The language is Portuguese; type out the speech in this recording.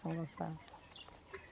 São Gonçalo.